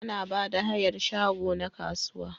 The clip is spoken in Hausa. Ana Bada hayar shago na kasuwa